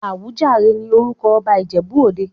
Awùjalẹ̀ ní orúkọ ọba Ìjẹ̀bú-òde.